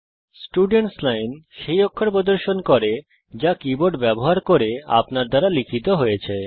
students line সেই অক্ষর প্রদর্শন করে যা কীবোর্ড ব্যবহার করে আপনার দ্বারা লিখিত হয়েছে